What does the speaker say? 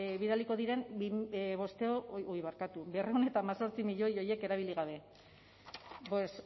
bidaliko diren berrehun eta hemezortzi milioi horiek erabili gabe pues